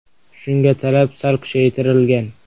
Shunga, talab sal kuchaytirilgan.